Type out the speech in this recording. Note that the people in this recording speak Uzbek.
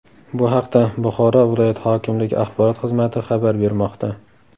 Bu haqda Buxoro viloyat hokimligi axborot xizmati xabar bermoqda .